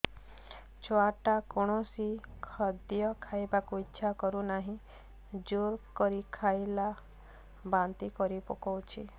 ଛୁଆ ଟା କୌଣସି ଖଦୀୟ ଖାଇବାକୁ ଈଛା କରୁନାହିଁ ଜୋର କରି ଖାଇଲା ବାନ୍ତି କରି ପକଉଛି